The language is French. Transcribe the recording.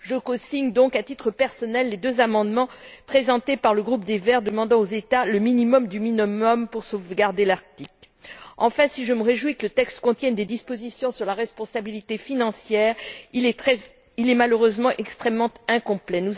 Je cosigne donc, à titre personnel, les deux amendements présentés par le groupe des pour Verts demandant aux États le minimum minimorum pour sauvegarder l'Arctique. En fait, si je me réjouis que le texte contienne des dispositions sur la responsabilité financière, il est malheureusement extrêmement incomplet.